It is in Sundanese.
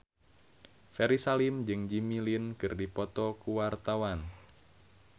Ferry Salim jeung Jimmy Lin keur dipoto ku wartawan